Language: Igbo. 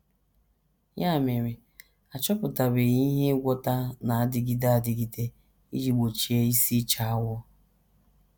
Ya mere, a chọpụtabeghị ihe ngwọta na - adịgide adịgide iji gbochie isi ịcha awọ.